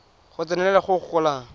go tsenelela go go golang